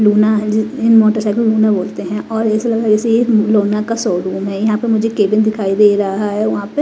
लोना है इन मोटरसाइकिल लोना बोलते हैं और ऐसा ऐसे ही लोना का शोरूम है यहां पे मुझे केबिन दिखाई दे रहा है वहां पे--